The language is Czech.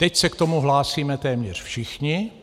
Teď se k tomu hlásíme téměř všichni.